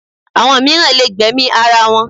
Àwọn mìíràn lè gbẹ̀mí ara wọn